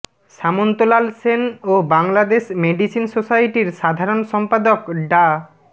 সামন্ত লাল সেন ও বাংলাদেশ মেডিসিন সোসাইটির সাধারণ সম্পাদক ডা